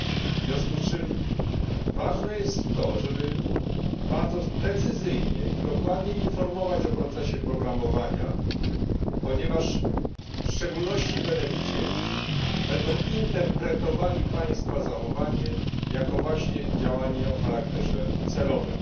W związku z czym ważne jest to, żeby bardzo precyzyjnie i dokładnie informować o procesie programowania, ponieważ w szczególności beneficjenci będą interpretowali Państwa zachowanie, jako właśnie działanie o charakterze celowym.